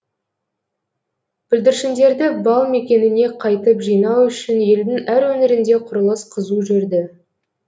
бүлдіршіндерді бал мекеніне қайтып жинау үшін елдің әр өңірінде құрылыс қызу жүрді